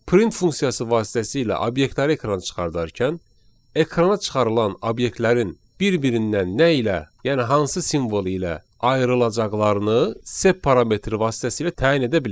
Print funksiyası vasitəsilə obyektləri ekrana çıxardarkən, ekrana çıxarılan obyektlərin bir-birindən nə ilə, yəni hansı simvol ilə ayrılacaqlarını sep parametri vasitəsilə təyin edə bilərik.